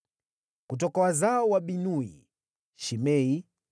Kutoka wazao wa Binui: Shimei,